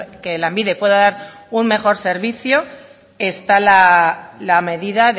que lanbide pueda dar un mejor servicio está la medida